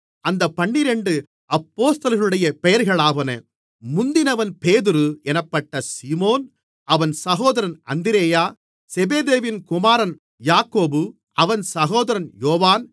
அந்தப் பன்னிரண்டு அப்போஸ்தலர்களுடைய பெயர்களாவன முந்தினவன் பேதுரு என்னப்பட்ட சீமோன் அவன் சகோதரன் அந்திரேயா செபெதேயுவின் குமாரன் யாக்கோபு அவன் சகோதரன் யோவான்